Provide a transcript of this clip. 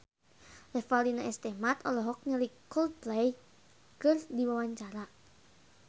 Revalina S. Temat olohok ningali Coldplay keur diwawancara